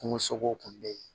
Kungo sogow kun be yen